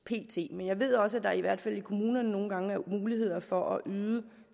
men jeg ved også at der i hvert fald i kommunerne nogle gange er muligheder for at yde